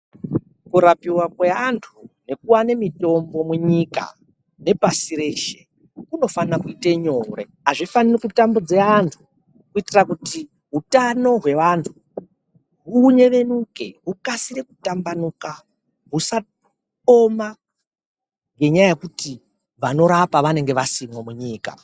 Kurapiva kweantu nekuvane mitombo munyika nepashi reshe kunofana kuita nyore. Hakufani kutambudza vantu kuitira kuti hutano hweantu hunyevenuke hukasire kutamba nuka husaoma ngenyaya yekuti vanorapa vanenge vasimo munyika.